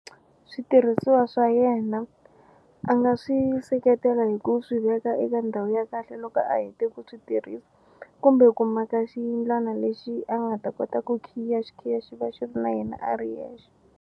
Switirhisiwa swa yena a nga swi seketela hi ku swi veka eka ndhawu ya kahle loko a hete ku switirhisa kumbe ku maka xiyindlwana lexi a nga ta kota ku khiya xikhiya xi va xi ri na yena a ri yexe.